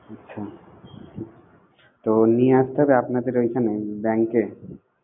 আচ্ছা তো নিয়ে আস্তে হবে আপনাদের ওইখানে bank এ?